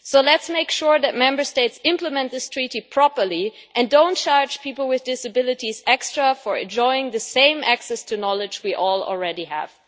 And let's make sure that Member States implement this treaty properly and don't charge people with disabilities extra for enjoying the same access to knowledge that we all already have.